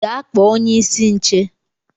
Gaa kpọ onye-isi nche.!